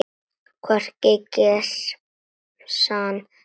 Hvorki í gemsann né heima.